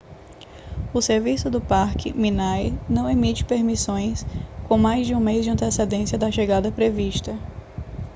o serviço do parque minae não emite permissões com mais de um mês de antecedência da chegada prevista